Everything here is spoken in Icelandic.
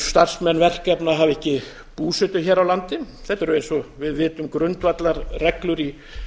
starfsmenn verkefna hafa ekki búsetu hér á landi þetta eru eins og við vitum grundvallarreglur í